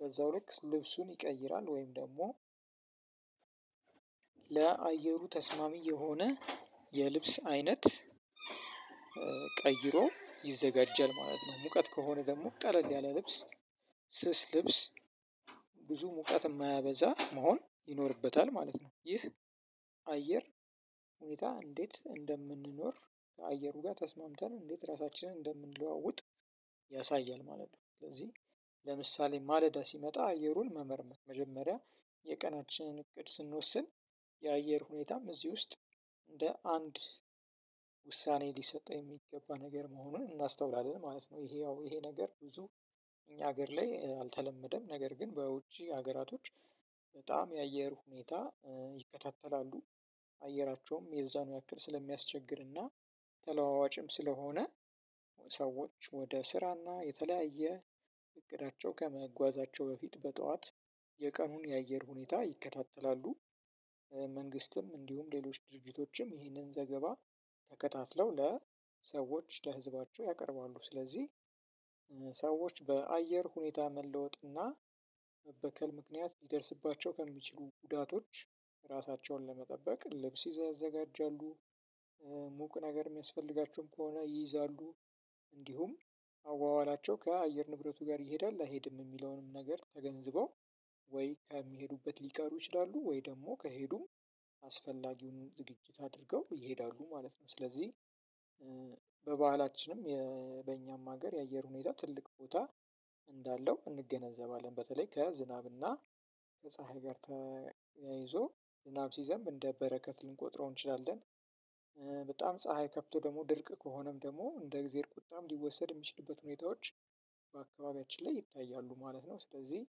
በዛው ልክ ልብሱን ይቀይራል ወይም ደግሞ ለአየሩ ተስማሚ የሆነ የልብስ አይነት ቀይሮ ይዘጋጀል ማለት ነው። ሙቀት ከሆነ ደግሞ ቀለል ያለ ልብስ ስስ ልብስ ብዙ ሙቀት የማያበዛ መሆን ይኖርበታል ማለት ነው። ይህ አየር ሁኔታ እንዴት እንደምንኖር አየሩ ጋር ተስማምተን እንዴት ራሳችንን እንደምንለዋውጥ ያሳያል ማለት ነው። ስለዚህ ለምሳሌ ማለዳ ሲመጣ አየሩን መመርመር መጀመሪያ የቀናችንን እቅድ ስንወስን የአየር ሁኔታም እዚህ ውስጥ እንደ አንድ ውሳኔ ሊሰጠው የሚገባ ነገር መሆኑን እናስተውላለን ማለት ነው። ይሄ ያው ይሄ ነገር ብዙ እኛ ሀገር ላይ አልተለመደም ነገር ግን በውጪ ሀገራቶች በጣም የአየር ሁኔታ ይከታተላሉ። አየራቸውም የዛኑ ያክል ስለሚያስቸግርና ተለዋዋጭም ስለሆነ ሰዎች ወደ ስራና የተለያየ እቅዳቸው ከመጓዛቸው በፊት በጠዋት የቀኑን የአየር ሁኔታ ይከታተላሉ። መንግስትም እንዲሁም ሌሎች ድርጅቶችም ይህንን ዘገባ ተከታትለው ለሰዎች ለህዝባቸው ያቀርባሉ። ስለዚህ ሰዎች በአየር ሁኔታ መለወጥ እና መበከል ምክንያት ሊደርስባቸው ከሚችሉ ጉዳቶች ራሳቸውን ለመጠበቅ ልብስ ይዘው ያዘጋጃሉ። ሙቅ ነገር እሚያስፈልጋቸውም ከሆነ ይይዛሉ። አዋዋላቸው ከአየር ንብረቱ ጋር ይሄዳል አይሄድም የሚለውንም ነገር ተገንዝበው ወይ ከሚሄዱበት ሊቀሩ ይችላሉ ወይ ደግሞ ከሄዱም አስፈላጊውን ዝግጅት አድርገው ይሄዳሉ ማለት ነው። ስለዚህ በባህላችንም በእኛም ሀገር የአየር ሁኔታ ትልቅ ቦታ እንዳለው እንገነዘባለን። በተለይ ከዝናብና ከፀሀይ ጋር ተያይዞ ዝናብ ሲዘንብ እንደ በረከት ልንቆጥረው እንችላለን። በጣም ፀሀይ ከፍቶ ደግሞ ድርቅ ከሆነም ደግሞ እንደ እግዜአብሄር ቁጣም ሊወሰድ እሚችልበት ሁኔታዎች በአካባቢያችን ላይ ይታያሉ ማለት ነው። ስለዚህ